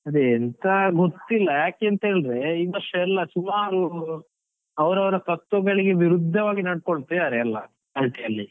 ಅದೇ ಎಂತ ಗೊತ್ತಿಲ್ಲ, ಯಾಕೇಂತ ಹೇಳಿದ್ರೆ ಈ ವರ್ಷ ಎಲ್ಲ ಸುಮಾರು ಅವರವರ ತತ್ವಗಳಿಗೆ ವಿರುದ್ಧವಾಗಿ ನಡೆದುಕೊಳ್ತಿದಾರೆ ಎಲ್ಲ party ಅಲ್ಲಿ.